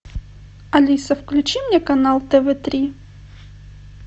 алиса включи мне канал тв три